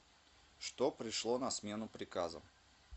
что пришло на смену приказам